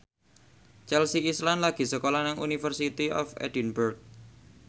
Chelsea Islan lagi sekolah nang University of Edinburgh